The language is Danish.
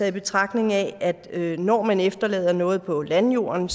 i betragtning at når man efterlader noget på landjorden